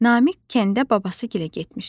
Namiq kənddə babasıgilə getmişdi.